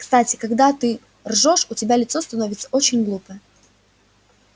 кстати когда ты ржёшь у тебя лицо становится очень глупое